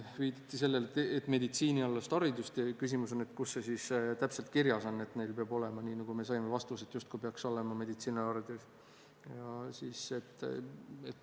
Viidati sellele, et ei ole meditsiinialast haridust, ja küsimus on, kus see siis täpselt kirjas on, et neil peab olema, nii nagu me saime vastuse, meditsiiniharidus.